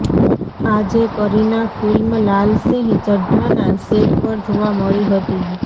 આજે કરીના ફિલ્મ લાલ સિંહ ચઢ્ઢાના સેટ પર જોવા મળી હતી